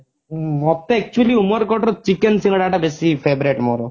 ମୋତେ actually ଉମେରକୋଟର chicken ସିଙ୍ଗଡା ଟା ବେଶି favorite ମୋର